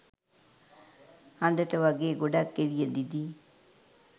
හඳට වගේ ගොඩක් එළිය දිදී